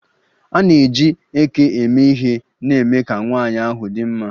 A na-eji eke eme ihe na-eme ka nwanyị ahụ dị mma.